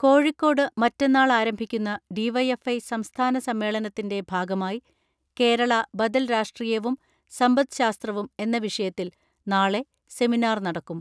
കോഴിക്കോട് മറ്റന്നാൾ ആരംഭിക്കുന്ന ഡി.വൈ.എഫ്.ഐ സംസ്ഥാന സമ്മേളനത്തിന്റെ ഭാഗമായി കേരള ബദൽ രാഷ്ട്രീ യവും സമ്പദ്ശാസ്ത്രവും എന്ന വിഷയത്തിൽ നാളെ സെമിനാർ നടക്കും.